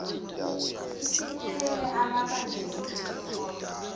ifinyelele amabangeni esikole